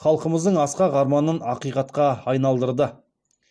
халқымыздың асқақ арманын ақиқатқа айналдырды